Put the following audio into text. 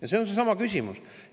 Ja see on seesama küsimus.